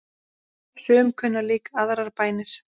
Sum kunna líka aðrar bænir.